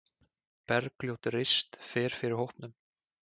Bergljót Rist fer fyrir hópnum.